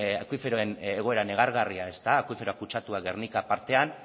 akuiferoen egoera negargarria ezta akuifero kutsatua gernika partean